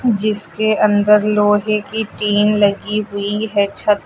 जिसके अंदर लोहे की टीन लगी है हुईं हैं छत--